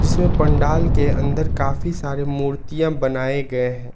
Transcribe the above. जिसमे पंडाल के अंदर काफी सारे मूर्तियां बनाए गए हैं।